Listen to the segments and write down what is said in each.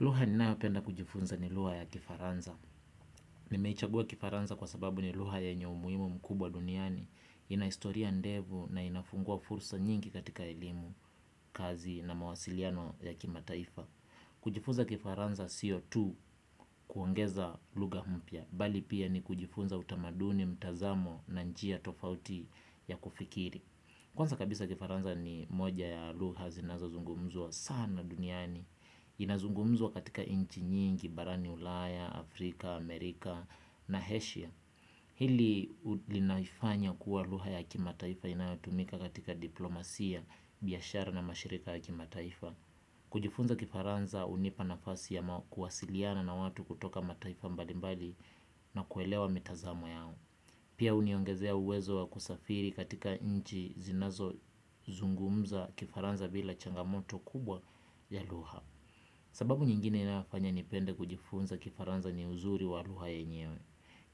Lugha ninayopenda kujifunza ni lugha ya kifaransa. Nimeichagua kifaransa kwa sababu ni lugha yenye umuhimu mkubwa duniani. Ina historia ndevu na inafungua fursa nyingi katika elimu kazi na mawasiliano ya kimataifa. Kujifunza kifaranza sio tu kuongeza lugha mpya. Bali pia ni kujifunza utamaduni, mtazamo na njia tofauti ya kufikiri. Kwanza kabisa kifaransa ni moja ya lugha zinazo zungumzwa sana duniani. Inazungumzwa katika inchi nyingi barani ulaya Afrika Amerika na Asia. Hili linaifanya kuwa lugha ya kimataifa inayotumika katika diplomasia biashara na mashirika ya kimataifa. Kujifunza kifaransa hunipa nafasi ya kuwasiliana na watu kutoka mataifa mbalimbali na kuelewa mitazamo yao. Pia huniongezea uwezo wa kusafiri katika nchi zinazo zungumza kifaransa bila changamoto kubwa ya lugha. Sababu nyingine inayofanya nipende kujifunza kifaransa ni uzuri wa lugha yenyewe.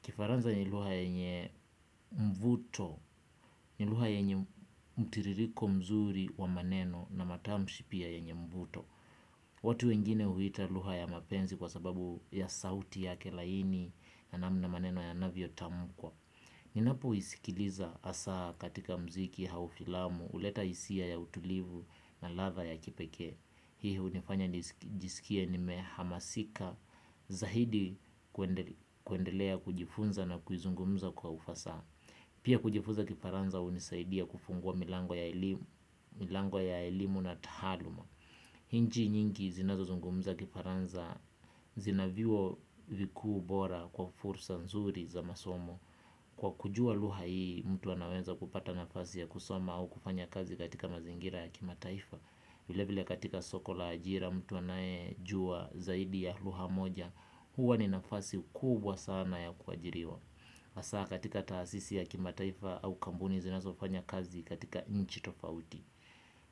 Kifaransa ni lugha yenye mvuto, ni lugha yenye mtiririko mzuri wa maneno na matamshi pia yenye mvuto. Watu wengine huhita lugha ya mapenzi kwa sababu ya sauti yake laini na namna maneno yanavyo tamkwa. Ninapo isikiliza hasaa katika mziki au filamu huleta hisia ya utulivu na ladha ya kipekee. Hii hunifanya nijisikie nime hamasika zaidi kuendelea kujifunza na kuzungumza kwa ufasaha. Pia kujifunza kifaransa hunisaidia kufungua milango ya elimu na taaluma. Nchi nyingi zinazo zungumza kifaransa zina vyuo vikuu bora kwa fursa nzuri za masomo. Kwa kujua lugha hii mtu anaweza kupata nafasi ya kusoma au kufanya kazi katika mazingira ya kimataifa. Vile vile katika soko la ajira mtu anae jua zaidi ya lugha moja huwa ni nafasi kubwa sana ya kuajiriwa hasa katika taasisi ya kimataifa au kampuni zinazo fanya kazi katika nchi tofauti.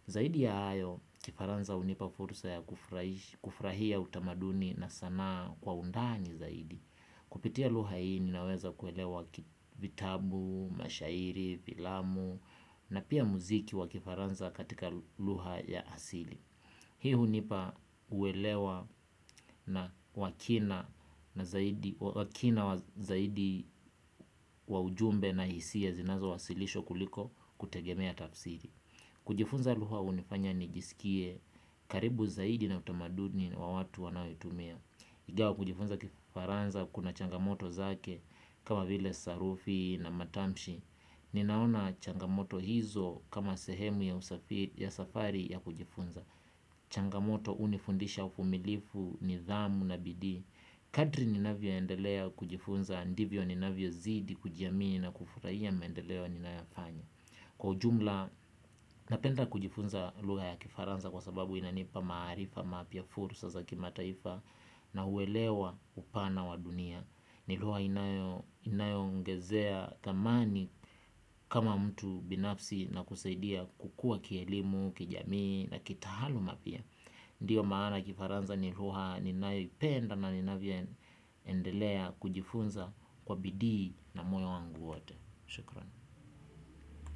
Zaidi ya hayo kifaransa hunipa fursa ya kufurahia utamaduni na sanaa kwa undani zaidi. Kupitia lugha hii ninaweza kuelewa vitabu mashairi vilamu na pia muziki wa kifaransa katika lugha ya asili. Hii hunipa uelewa na wa kina wa zaidi wa ujumbe na hisia zinazo wasilishwa kuliko kutegemea tafsiri. Kujifunza lugha hunifanya nijisikie karibu zaidi na utamaduni wa watu wanao itumia. Ingawa kujifunza kifaransa kuna changamoto zake kama vile sarufi na matamshi. Ninaona changamoto hizo kama sehemu ya safari ya kujifunza. Changamoto hunifundisha uvumilivu, nidhamu na bidii. Kadri ninavyo endelea kujifunza ndivyo ninavyo zidi kujiamini na kufurahia maendeleo ninayafanya kwa ujumla napenda kujifunza lugha ya kifaransa kwa sababu inanipa maarifa mapya fursa za kimataifa. Na uelewa upana wa dunia ni lugha inayo ongezea thamani kama mtu binafsi na kusaidia kukua kielimu, kijamii na kitaaluma pia. Ndiyo maana kifaransa ni lugha ninayoipenda na ninavyo endelea kujifunza kwa bidii na moyo wangu wote. Shukran.